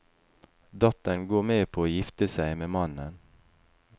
Datteren går med på å gifte seg med mannen.